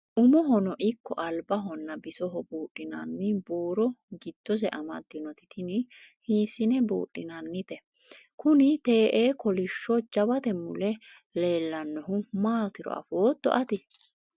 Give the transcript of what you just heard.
umohono ikko albahonna bisoho buudhinanni buuro giddose amaddinoti tini hiissine buudhinannite? kuni te'ee kolishsho jawate mule leelannohu maatiro afootto ati?